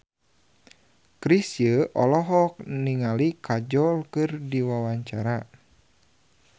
Chrisye olohok ningali Kajol keur diwawancara